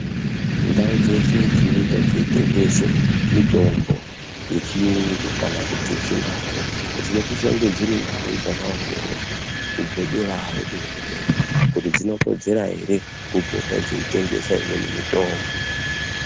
Ndau dzeshe dzinoita dzinotengeswa mitombo yechiyungu kana yechindau dzinosisa dzirindau dzakaongororwa kubvaderayo kuhurumende kuti dzinokodzera ere kupota dzeitengesa mimweni mitombo